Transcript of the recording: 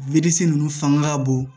ninnu fanga ka bon